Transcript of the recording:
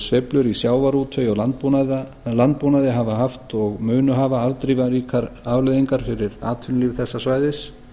sveiflur í sjávarútvegi og landbúnaði hafa haft og munu hafa afdrifaríkar afleiðingar fyrir atvinnulíf þessa svæðis